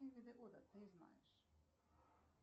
какие виды года ты знаешь